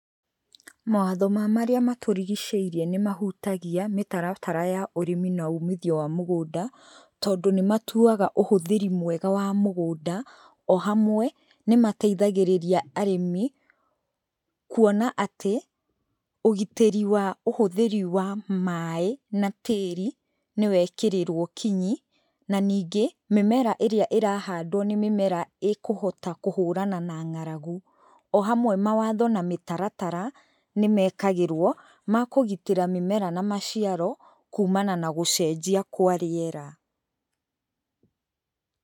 Mawatho ma marĩa matũrigicĩirie nĩ mahutagia mĩtaratara ya ũrĩmi na ũmithio ya mũgũnda, tondũ nĩmatuaga ũhũthĩri mwega wa mũgũnda, o hamwe, nĩmateithagĩrĩria arĩmi, kuona atĩ ũgitĩri wa ũhũthĩri wa maaĩ na tĩri nĩwekĩrĩrwo kinyi , na nĩngĩ mĩmera ĩrĩa ĩrahandwo nĩ mĩmera ĩkũhota kũhũrana na ng´aragu , o hamwe mawatho na mĩtaratara, nĩ mekagĩrwo makũgitĩra mĩmera na maciaro, kũmana na gũcenjia kwa rĩera.